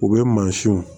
U bɛ mansinw